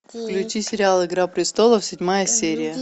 включи сериал игра престолов седьмая серия